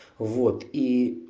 вот и